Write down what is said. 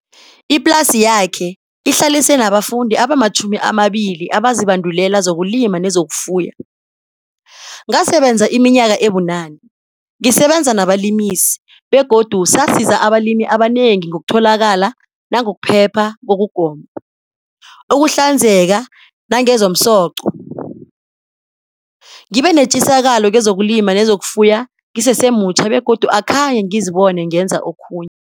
Iplasi yakhe ihlalise nabafundi abama-20 abazibandulela zokulima nezokufuya. "Ngasebenza iminyaka ebunane, ngisebenza nabalimisi, begodu sasiza abalimi abanengi ngokutholakala nangokuphepha kokugoma, ukuhlanzeka nangezomsoco. Ngibenetjisakalo kezokulima nezokufuya ngisesemutjha begodu akhenge ngizibone ngenza okhunye."